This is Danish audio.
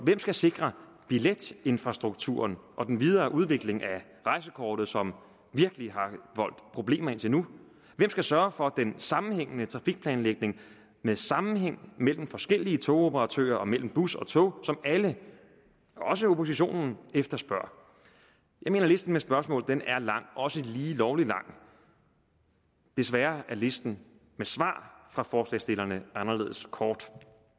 skal sikre billetinfrastrukturen og den videre udvikling af rejsekortet som virkelig har voldt problemer indtil nu hvem skal sørge for den sammenhængende trafikplanlægning med sammenhæng mellem forskellige togoperatører og mellem bus og tog som alle også oppositionen efterspørger jeg mener at listen med spørgsmål er lang også lige lovlig lang desværre er listen med svar fra forslagsstillerne anderledes kort